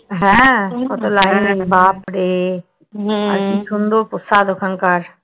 হ্যা কত line বাপড়ে? আর কি সুন্দর প্রসাদ ওখানকার?